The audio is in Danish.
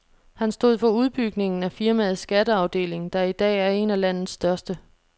Han stod for udbygningen af firmaets skatteafdeling, der i dag er en af landets største.